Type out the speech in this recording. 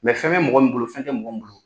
fɛn bɛ mɔgɔ min bolo fɛn tɛ mɔgɔ min bolo.